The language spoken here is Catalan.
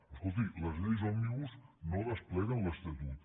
escolti les lleis òmnibus no despleguen l’estatut